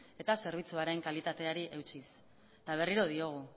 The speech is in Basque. eta zerbitzuaren kalitateari eutsiz eta berriro diogu